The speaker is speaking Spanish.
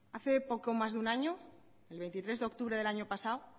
hace poco más de un año el veintitrés de octubre del año pasado